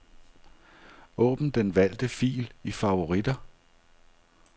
Åbn den valgte fil i favoritter.